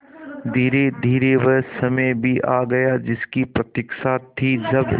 धीरेधीरे वह समय भी आ गया जिसकी प्रतिक्षा थी जब